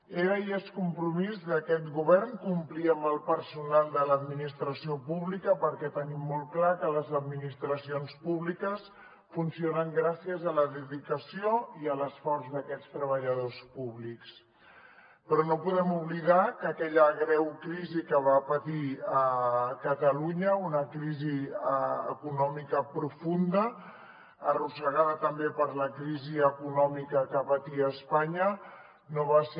era i és compromís d’aquest govern complir amb el personal de l’administració pública perquè tenim molt clar que les administracions públiques funcionen gràcies a la dedicació i a l’esforç d’aquests treballadors públics però no podem oblidar que aquella greu crisi que va patir catalunya una crisi econòmica profunda arrossegada també per la crisi econòmica que patia espanya no va ser